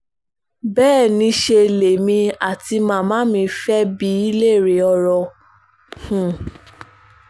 um bẹ́ẹ̀ niṣẹ́ lèmi àti màmá mi fẹ́ẹ́ bi í léèrè ọ̀rọ̀ o um